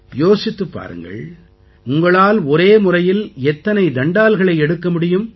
யோசித்துப் பாருங்கள் உங்களால் ஒரே முறையில் எத்தனை தண்டால்களை எடுக்க முடியும்